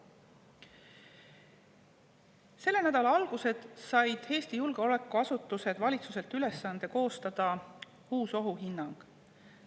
Selle nädala alguses said Eesti julgeolekuasutused valitsuselt ülesande koostada uus ohuhinnang.